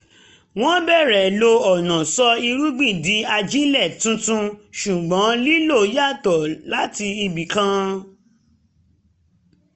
wọ́n bẹ̀rẹ̀ lo ọ̀nà sọ irúgbìn di ajílẹ̀ tuntun ṣùgbọ́n lílo yàtọ̀ láti ibì kan